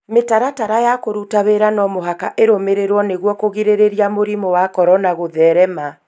Mĩtaratara ya kũruta wĩra no mũhaka ĩrũmĩrĩrwo nĩguo kũgirĩrĩria mũrimũ wa corona gũtherema.